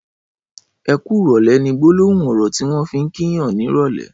''Ẹ kùrọ̀lẹ̀'' ni gbólóhún ọrọ tiwọn fi n kí yàn nirọlẹ̀